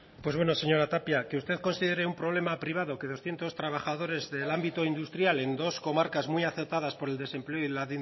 pues bueno señora tapia que usted considere un problema privado que doscientos trabajadores del ámbito industrial en dos comarcas muy afectadas por el desempleo y la